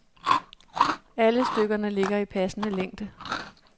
Alle stykkerne ligger i passende længde.